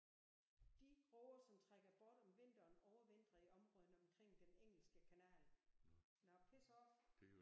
De råger som trækker bort om vinteren overvintrer i områderne omkring Den Engelske Kanal. Now piss off